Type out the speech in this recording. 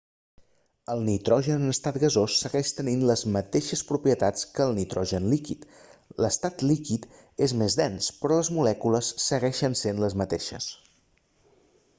el nitrogen en estat gasós segueix tenint les mateixes propietats que el nitrogen líquid l'estat líquid és més dens però les molècules segueixen sent les mateixes